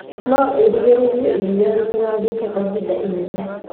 No ĩrigĩrĩrie iria rĩtigathũke kwa hinda ĩnene